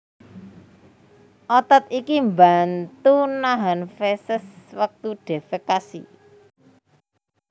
Otot iki mbantu nahan feses wektu defekasi